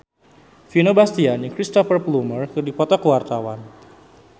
Vino Bastian jeung Cristhoper Plumer keur dipoto ku wartawan